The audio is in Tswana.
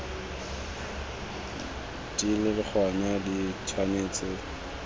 di le gona di tshwanetse